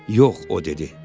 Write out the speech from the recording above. Yox, o dedi.